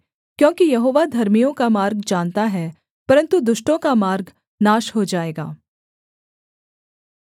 क्योंकि यहोवा धर्मियों का मार्ग जानता है परन्तु दुष्टों का मार्ग नाश हो जाएगा